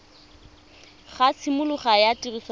ga tshimologo ya tiriso ya